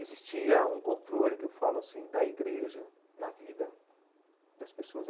Existia um controle, que eu falo assim, da igreja na vida das pessoas.